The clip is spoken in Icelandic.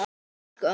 Já, sko!